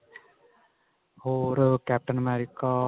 ਹੋਰ captain america